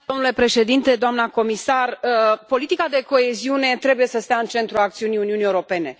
Domnule președinte, doamnă comisar, politica de coeziune trebuie să stea în centrul acțiunii Uniunii Europene.